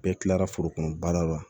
Bɛɛ kilara foro kɔnɔ baara la